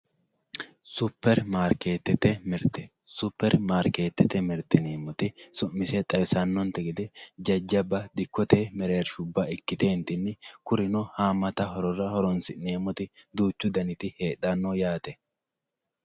Super mariketete mirite super maariketete mirite yineemoti su'mise xawisa'nontenni gede jajaba dikkote mereerrishuba ikitentini kurino haamatta horonsineemotti duuchu daniti heedhanno yaate